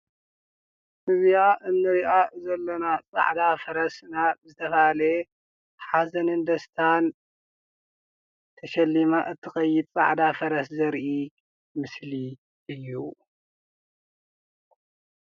እዛ እንሪእያ ዘለና ፃዕዳ ፈረስ ናብ ዝተባህለ ሓዘንን ደስታን ተሸሊማ እትኸይድ ፃዕዳ ፈረስ ዘርኢ ምስሊ እዩ።